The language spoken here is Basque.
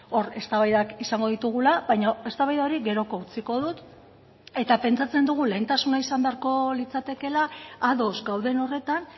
hor eztabaidak izango ditugula baina eztabaida hori geroko utziko dut eta pentsatzen dugu lehentasuna izan beharko litzatekeela ados gauden horretan